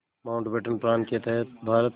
Mountbatten plan के तहत भारत